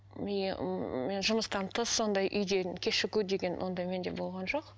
жұмыстан тыс сондай үйден кешігу деген ондай менде болған жоқ